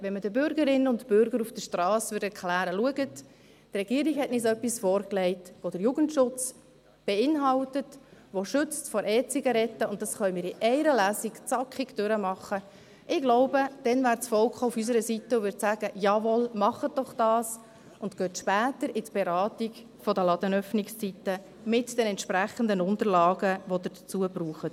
Wenn man den Bürgerinnen und Bürger auf der Strasse erklären würde, «Schauen Sie, die Regierung hat uns etwas vorgelegt, das den Jugendschutz beinhaltet, das vor E-Zigaretten schützt, und das können wir in einer Lesung zackig durchberaten.», glaube ich, wäre das Volk auf unserer Seite und würde sagen, «Jawohl, machen Sie das doch und steigen Sie später in die Beratung der Ladenöffnungszeiten ein, mit den entsprechenden Unterlagen, welche Sie dazu benötigen.».